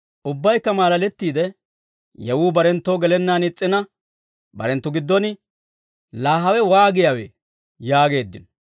Ubbaykka maalalettiide, yewuu barenttoo gelennaan is's'ina barenttu giddon, «Laa hawe waagiyaawee?» yaageeddino.